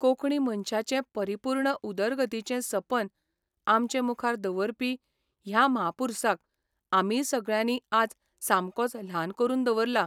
कोंकणी मनशाचे परिपुर्ण उदरगतीचें सपन आमचे मुखार दवरपी ह्या म्हापुरसाक आमीय सगळ्यांनी आज सामकोच ल्हान करून दवरला.